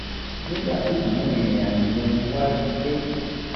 nígbà tí mò ń rìnrìn àjò yẹn mo wá rí i pé